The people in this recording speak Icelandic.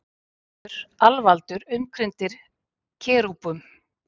Kristur alvaldur umkringdur kerúbum.